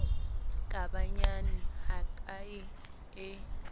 ka ba nyane hakae e